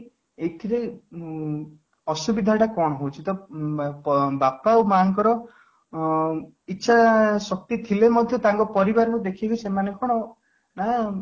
ଏଥିରେ ଉଁ ଅସୁବିଧାଟା କ'ଣ ହଉଛି ? ତ ବାପ ମାଆ ଙ୍କର ଅଂ ଇଛା ଶକ୍ତି ଥିଲେ ମଧ୍ୟ ତାଙ୍କ ପରିବାର ଙ୍କୁ ଦେଖିକି ସେମାନେ କ'ଣ ନା